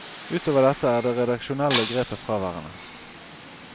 Utover dette er det redaksjonelle grepet fraværende.